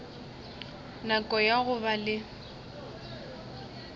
nako ya go ba le